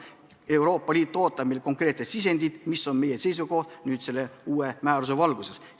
Euroopa Liit ootab meilt konkreetset sisendit, mis on meie seisukoht selle uue määruse osas.